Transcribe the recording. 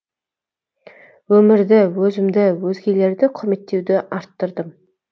өмірді өзімді өзгелерді құрметтеуді арттырдым